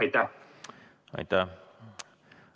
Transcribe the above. Aitäh!